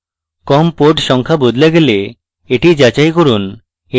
com port সংখ্যা বদলে গেলে এটি যাচাই করুন